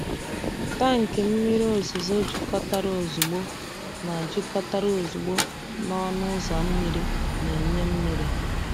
Tankị mmiri ozuzo jikọtara ozugbo na jikọtara ozugbo na ọnụ ụzọ mmiri na-enye mmiri.